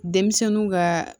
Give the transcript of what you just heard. Denmisɛnninw ka